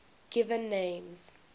given names